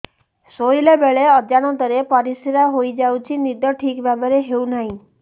ଶୋଇଲା ବେଳେ ଅଜାଣତରେ ପରିସ୍ରା ହୋଇଯାଉଛି ନିଦ ଠିକ ଭାବରେ ହେଉ ନାହିଁ